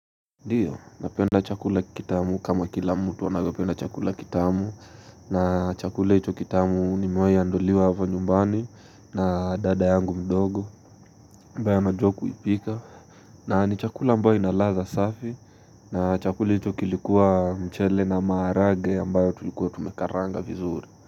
Ndiyo, napenda chakula kitamu kama kila mtu anavyopenda chakula kitamu na chakula icho kitamu ni nimewai andaliwa hapa nyumbani na dada yangu mdogo ambae anajua kuipika na ni chakula ambayo ina ladha safi na chakula ichi kilikuwa mchele na maharagwe ambayo tulikuwa tumekaranga vizuri.